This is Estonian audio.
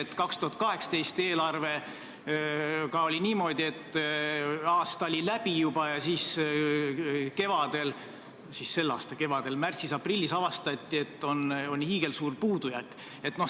Teatavasti 2018 eelarvega oli niimoodi, et aasta oli juba läbi ja siis selle aasta kevadel, märtsis-aprillis avastati, et on hiigelsuur puudujääk.